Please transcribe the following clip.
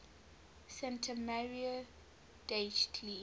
santa maria degli